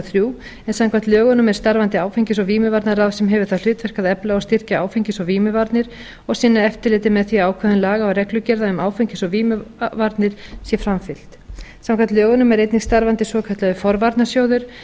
þrjú en samkvæmt lögunum er starfandi áfengis og vímuvarnaráð sem hefur það hlutverk að efla og styrkja áfengis og vímuvarnir og sinna eftirliti með því að ákvæðum laga og reglugerða um áfengis og vímuvarnir sé framfylgt samkvæmt lögunum er einnig starfandi svokallaður forvarnasjóður